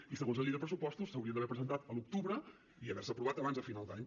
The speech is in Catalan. i segons la llei de pressupostos s’haurien d’haver presentat a l’octubre i haver se aprovat abans de final d’any